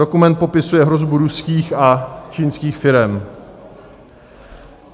Dokument popisuje hrozbu ruských a čínských firem.